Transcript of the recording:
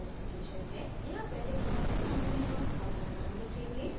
यहाँ पहले खाली स्थान में हम अपना नाम लिखेंगे